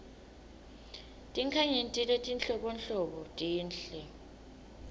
tinkhanyeti letinhlobonhlobo tinhle